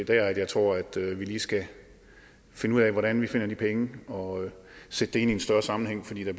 det jeg tror at vi lige skal finde ud af hvordan vi finder pengene og sætte det ind i en større sammenhæng fordi der